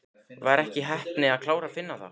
Var ekki heppni að klára Finna þá?